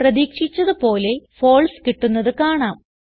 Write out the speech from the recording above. പ്രതീക്ഷിച്ചത് പോലെ ഫാൽസെ കിട്ടുന്നത് കാണാം